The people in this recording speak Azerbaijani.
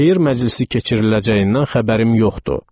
Şeir məclisi keçiriləcəyindən xəbərim yoxdu.